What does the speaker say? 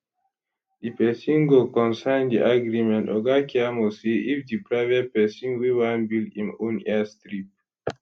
di pesin go con sign di agreement oga keyamo say if di private pesin wey wan build im own airstrip